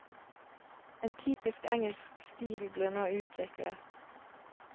En typisk engelsk stil ble nå utviklet.